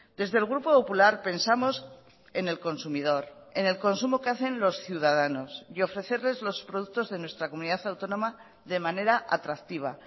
desde el grupo popular pensamos en el consumidor en el consumo que hacen los ciudadanos y ofrecerles los productos de nuestra comunidad autónoma de manera atractiva